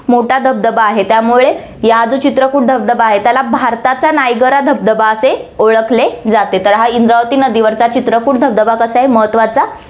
मोठा धबधबा आहे, त्यामुळे या जो चित्रकोट धबधबा आहे, त्याला भारताचा नायगरा धबधबा असे ओळखले जाते, तर हा इंद्रावती नदीवरचा चित्रकोट धबधबा कसा आहे, महत्वाचा आहे